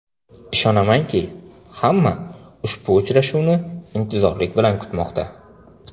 Ishonamanki, hamma ushbu uchrashuvni intizorlik bilan kutmoqda.